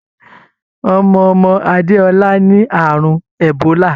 Ọmọ ọmọ Adéọlá ní àrùn ẹ̀bólà.